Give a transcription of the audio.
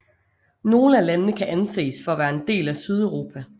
Nogle af landene kan anses for at være en del af Sydeuropa